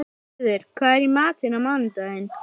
Smiður, hvað er í matinn á mánudaginn?